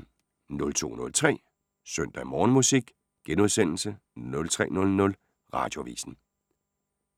02:03: Søndag Morgenmusik * 03:00: Radioavisen